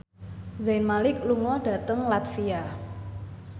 Zayn Malik lunga dhateng latvia